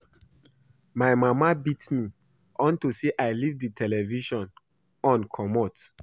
My mama beat me unto say I leave the television on comot